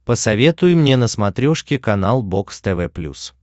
посоветуй мне на смотрешке канал бокс тв плюс